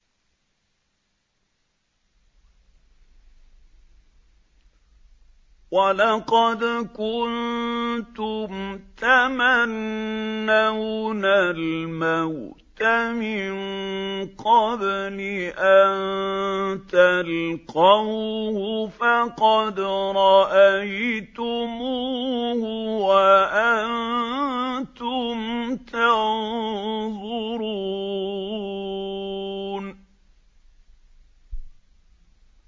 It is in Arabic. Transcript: وَلَقَدْ كُنتُمْ تَمَنَّوْنَ الْمَوْتَ مِن قَبْلِ أَن تَلْقَوْهُ فَقَدْ رَأَيْتُمُوهُ وَأَنتُمْ تَنظُرُونَ